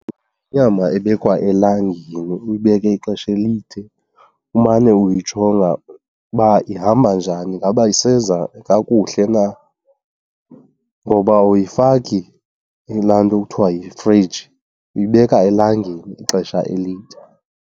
Yinyama ebekwa elangeni, uyibeke ixesha elide umane uyijonga uba ihamba njani, ingaba iseza kakuhle na. Ngoba awuyifaki kulaa nto kuthiwa yifriji, uyibeka elangeni ixesha elide.